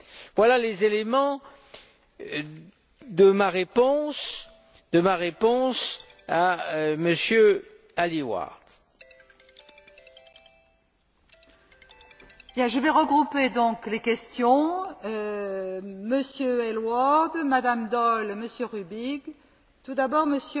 Voilà les éléments de ma réponse